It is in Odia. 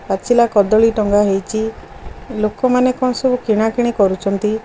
ପାଚିଲା କଦଳୀ ଟଙ୍ଗା ହେଇଛି ଲୋକମାନେ କଣ ସବୁ କିଣାକିଣି କରୁଛନ୍ତି।